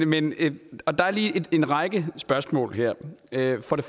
men der er lige en række spørgsmål her